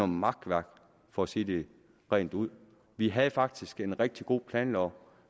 makværk for at sige det rent ud vi havde faktisk en rigtig god planlov